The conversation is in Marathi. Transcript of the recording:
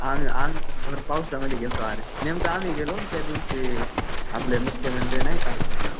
आम्ही तर भर पावसामध्ये गेलतो अरे. नेमकं आम्ही गेलो आणि त्या दिवशी आपले मुख्यमंत्री नाही का